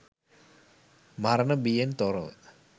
මරණ බියෙන් තොරව